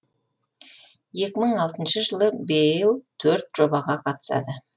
екі мың алтыншы жылы бейл төрт жобаға қатысады